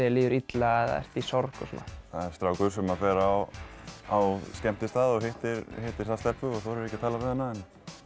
líður illa eða ert sorg og svona það er strákur sem fer á á skemmtistað og hittir þar stelpu og þorir ekki að tala við hana